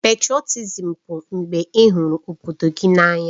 Pètrotizim bụ mgbe ị hụrụ obodo gị n'anya